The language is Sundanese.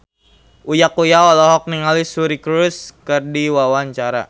Uya Kuya olohok ningali Suri Cruise keur diwawancara